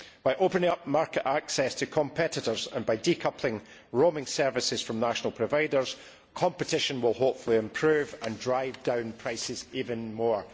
By opening up market access to competitors and by decoupling roaming services from national providers, competition will hopefully improve and drive down prices even more.